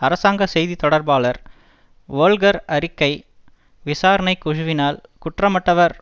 அரசாங்க செய்தி தொடர்பாளர் வோல்க்கர் அறிக்கை விசாரணை குழுவினால் குற்றமற்றவர்